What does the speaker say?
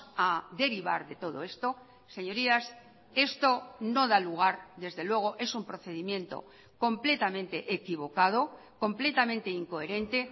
a derivar de todo esto señorías esto no da lugar desde luego es un procedimiento completamente equivocado completamente incoherente